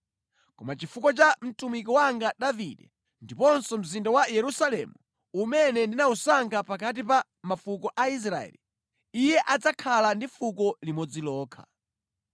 Koma chifukwa cha mtumiki wanga Davide ndiponso mzinda wa Yerusalemu, umene ndinawusankha pakati pa mafuko a Israeli, iye adzakhala ndi fuko limodzi lokha.